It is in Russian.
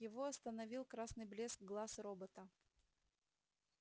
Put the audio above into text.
его остановил красный блеск глаз робота